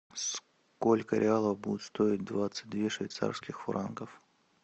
сколько реалов будет стоить двадцать две швейцарских франков